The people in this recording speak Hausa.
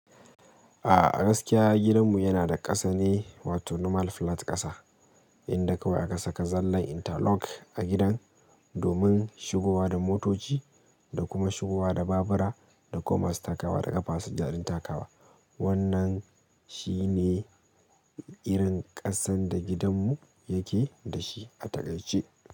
A'a, a gaskiya gidanmu yana da ƙasa ne, wato normal flat ƙasa, inda kawai aka saka zallan interlock a gidan domin shigowa da motoci da kuma shigowa da babura da kuma su takawa da ƙafa, su ji jaɗin takawa. Wannan shi ne irin ƙasan da gidanmu yake da shi a takaice.